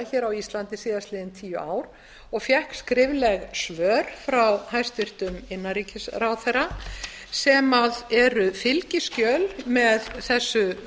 þeirra á íslandi síðustu tíu árin og fékk skrifleg svör frá hæstvirtum innanríkisráðherra sem eru fylgiskjal með þessu